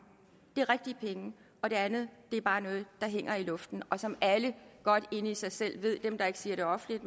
det er rigtige penge og det andet er bare noget der hænger i luften og som alle godt inde i sig selv ved dem der ikke siger det offentligt